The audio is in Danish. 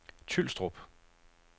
Tylstrup